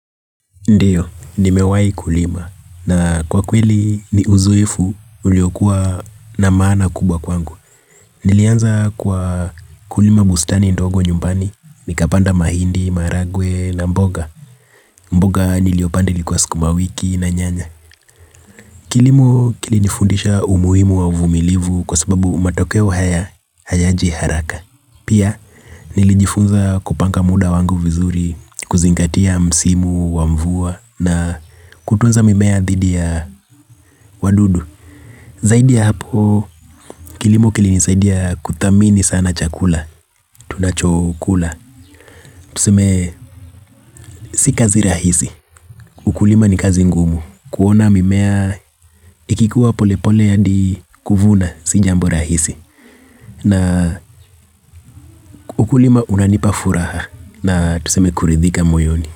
Ndiyo, nimewahi kulima na kwa kweli ni uzoefu uliokuwa na maana kubwa kwangu. Nilianza kwa kulima bustani ndogo nyumbani, nikapanda mahindi, maragwe na mboga. Mboga niliyopanda ilikuwa sukumawiki na nyanya. Kilimo kilinifundisha umuhimu wa uvumilivu kwa sababu matokeo haya hayaji haraka. Pia nilijifunza kupanga muda wangu vizuri kuzingatia msimu wa mvua na kutunza mimea dhidi ya wadudu. Zaidi ya hapo kilimo kilinisaidia kuthamini sana chakula tunachokula. Tuseme si kazi rahisi. Ukulima ni kazi ngumu. Kuona mimea ikikuwa polepole hadi kuvuna si jambo rahisi. Na ukulima unanipa furaha na tuseme kuridhika moyoni.